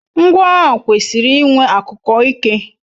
Ngwa agha kwesiri iwe akuko Ike